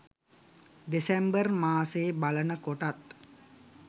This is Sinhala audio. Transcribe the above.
දෙසැම්බර් මාසෙ බලනකොටත්